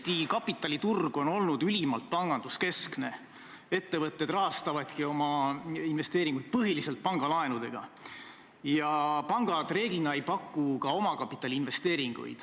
Teie armastatud koalitsioonipartneri liige, teie hea kolleeg maaeluminister Mart Järvik on loobunud Eesti Vabariigi õigusliku järjepidevuse põhimõttest ning lasknud riputada oma ministeeriumi seinale nii Saksa kui ka Nõukogude okupatsiooni aegsete ministrite pildid.